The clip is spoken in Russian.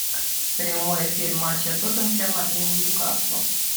прямой эфир матча тоттенхэма и ньюкасла